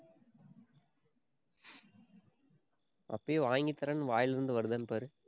அப்பயே வாங்கி தர்றேன்னு, வாயில இருந்து வருதான்னு பாரு.